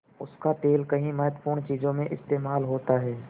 उसका तेल कई महत्वपूर्ण चीज़ों में इस्तेमाल होता है